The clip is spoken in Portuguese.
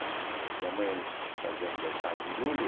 Minha mãe era em fazia aniversário em julho.